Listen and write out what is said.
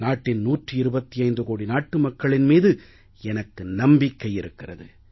நாட்டின் 125 கோடி மக்களின் மீது எனக்கு நம்பிக்கை இருக்கிறது